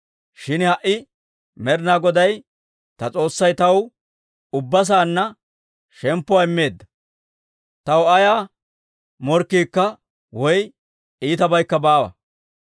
Shin ha"i Med'inaa Goday ta S'oossay taw ubbaa saanna shemppuwaa immeedda; taw ayaa morkkiikka woy iitabaykka baawa.